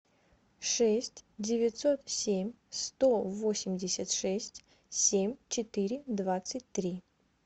шесть девятьсот семь сто восемьдесят шесть семь четыре двадцать три